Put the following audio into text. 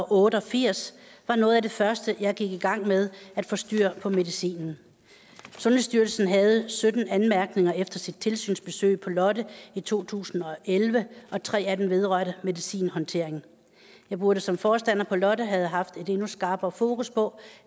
otte og firs var noget af det første jeg gik i gang med at få styr på medicinen sundhedsstyrelsen havde sytten anmærkninger efter sit tilsynsbesøg på lotte i to tusind og elleve og tre af dem vedrørte medicinhåndteringen jeg burde som forstander på lotte have haft et endnu skarpere fokus på